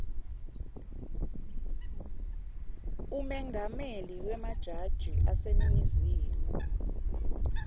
umengameli wemajaji aseningizimu